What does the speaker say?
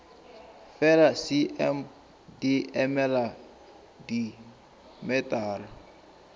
fela cm di emela dimetara